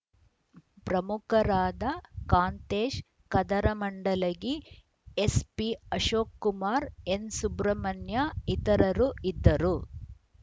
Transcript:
ಪ್ರಮುಖರಾದ Kantesh Kadaramandalagi SP Ashok Kumar N Subramanya ಇತರರು ಇದ್ದರು